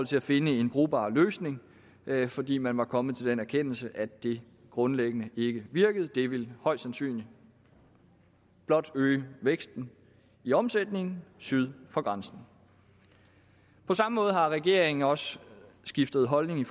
til at finde en brugbar løsning fordi man var kommet til den erkendelse at det grundlæggende ikke virkede det ville højst sandsynligt blot øge væksten i omsætningen syd for grænsen på samme måde har regeringen også skiftet holdning